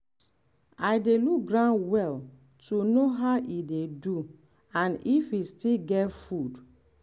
i dey look ground well to know how e dey do and if e still get food.